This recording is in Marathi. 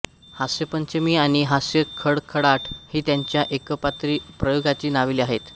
हास्यपंचमी आणि हास्यखळखळाट ही त्यांच्या एकपात्री प्रयोगांची नावे आहेत